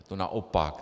Je to naopak.